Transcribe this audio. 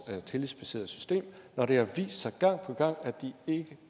tillidsbaserede system når det har vist sig gang på gang at de ikke